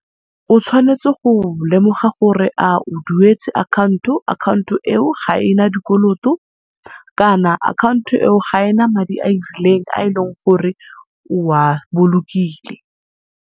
O tshwanetse go lemoga gore a o duetse account-o, account-o eo ga ena dikoloto kana account-o eo ga ena madi arileng a e leng gore o a bolokile.